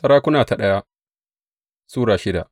daya Sarakuna Sura shida